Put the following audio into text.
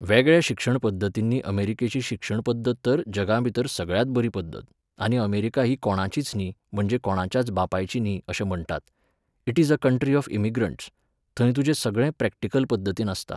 वेगळ्या शिक्षण पद्दतींनी अमेरिकेची शिक्षण पद्दत तर जगां भितर सगळ्यांत बरी पद्दत, आनी अमेरिका ही कोणाचीच न्ही, म्हणजे कोणाच्याच बापायची न्ही अशें म्हणटात. It is a country of immigrants. थंय तुजें सगळें प्रॅक्टिकल पद्दतीन आसता.